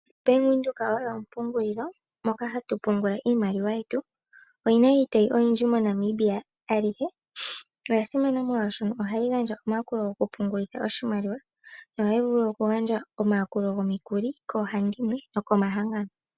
Bank Windhoek oyo ompungulilo moka hatu pungula iimaliwa yetu, oyina iitayi oyindji moNamibia alihe, na oyasimana molwashoka ohayi gandja omayakulo go kupungulitha oshimaliwa, yo ohayi vulu okugandja omayakulo gokugandja omikuli koohandimwe nokumahangano.